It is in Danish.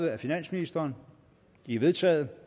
af finansministeren de er vedtaget